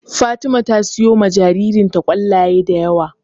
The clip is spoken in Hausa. Fatima ta siyowa jaririnta ƙwallaye da yawa.